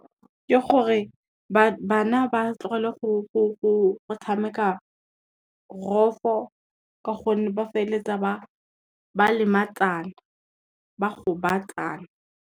Ke gore, bana ba tlogele go tshameka rofo ka gonne ba feleletsa ba kgobatsana.